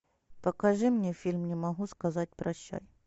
покажи мне фильм не могу сказать прощай